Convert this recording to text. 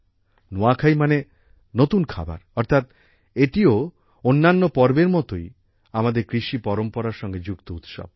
নুয়াখাই মানে নতুন খাবার অর্থাৎ এটিও অন্যান্য পর্বের মতোই আমাদের কৃষি পরম্পরার সঙ্গে যুক্ত উৎসব